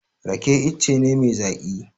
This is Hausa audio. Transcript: Rake ice ne mai zaƙi.